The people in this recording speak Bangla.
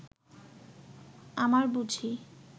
আমার বুঝি